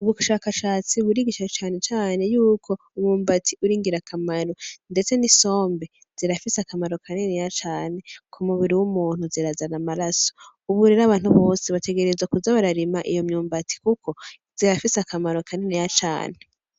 Ubushakashatsi burigisha cane cane yuko umwumbati uri ingirakamaro ndetse n’isombe zirafise akamaro kaniniya cane ku mubiri w’umuntu zirazana amaraso. Ubu rero abantu bose bategerezwa kuza bararima iyo mwumbati kuko zirafise akamaro kaniniya cane.